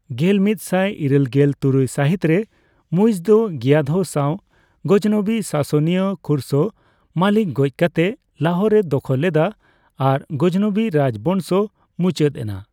ᱜᱮᱞᱢᱤᱛ ᱥᱟᱭ ᱤᱨᱟᱹᱞᱜᱮᱞ ᱛᱩᱨᱩᱭ ᱥᱟᱹᱦᱤᱛ ᱨᱮ ᱢᱩᱭᱤᱡᱽ ᱫᱚ ᱜᱤᱭᱟᱹᱫᱷᱚ ᱥᱟᱣ ᱜᱚᱡᱱᱚᱵᱤ ᱥᱟᱥᱚᱱᱤᱭᱟᱹ ᱠᱷᱩᱥᱨᱚ ᱢᱟᱞᱤᱠ ᱜᱚᱡᱽ ᱠᱟᱛᱮ ᱞᱟᱦᱳᱨ ᱮ ᱫᱚᱠᱷᱚᱞ ᱞᱮᱫᱼᱟ ᱟᱨ ᱜᱟᱡᱽᱱᱚᱵᱤ ᱨᱟᱡᱽ ᱵᱚᱝᱥᱚ ᱢᱩᱪᱟᱹᱫ ᱮᱱᱟ ᱾